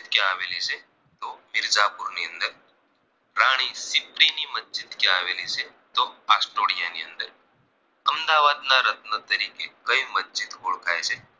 અમદાવાદના રત્ન તરીકે કઈ મસ્જિદ ઓળખાય છે